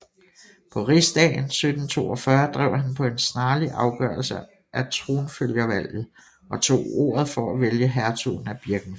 På rigsdagen 1742 drev han på en snarlig afgørelse af tronfølgervalget og tog ordet for at vælge hertugen af Birkenfeld